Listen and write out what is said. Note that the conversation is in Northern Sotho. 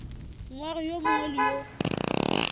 moagi yo mongwe le yo